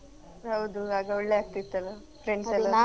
ಹೌದು ಆಗ ಒಳ್ಳೆ ಆಗ್ತಿತ್ತಲ್ಲ friends ಎಲ್ಲ.